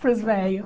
Para os velhos.